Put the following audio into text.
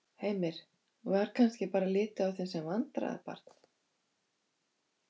Heimir: Var kannski bara litið á þig sem vandræðabarn?